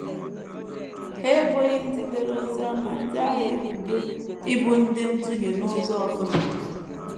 Ha eboghị ndị dere Oziọma ndị ahụ ebubo ịbụ ndị nduhie n’ụzọ ọ bụla.